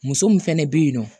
Muso mun fɛnɛ be yen nɔ